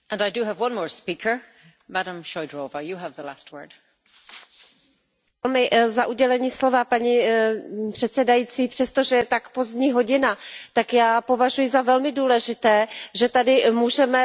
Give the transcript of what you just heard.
Paní předsedající, přestože je tak pozdní hodina, tak já považuji za velmi důležité, že tady můžeme slyšet tuto diskusi, a především, že jsem slyšela pana komisaře a jeho odpověď.